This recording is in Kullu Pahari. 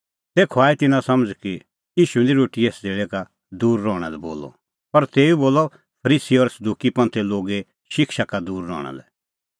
तेखअ आई तिन्नां समझ़ कि ईशू निं रोटीए सज़ेल़ै का दूर रहणा लै बोलअ पर तेऊ बोलअ फरीसी और सदुकी लोगे शिक्षा का दूर रहणा लै